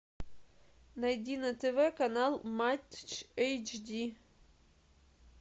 найди на тв канал матч эйч ди